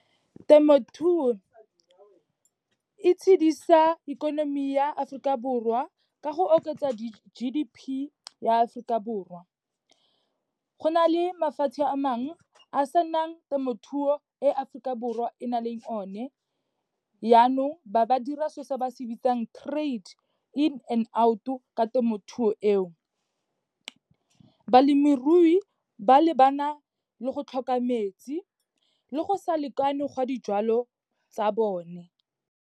Temothuo e itshidisa ikonomi ya Aforika Borwa, ka go oketsa di-G_D_P ya Aforika Borwa. Go na le mafatshe a mangwe a senang temothuo, e Aforika Borwa e nang le o ne, yanong ba ba dira so se ba se bitsang trade, in and out-o ka temothuo eo. Balemirui ba lebana le go tlhoka metsi, le go sa lekane gwa dijalo tsa bone.